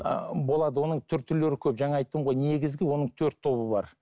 ыыы болады оның түр түрлері көп жаңа айттым ғой негізгі оның төрт тобы бар